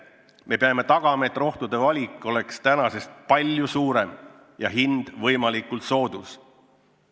Me peame tagama, et rohtude valik on praegusest palju suurem ja hind võimalikult soodus.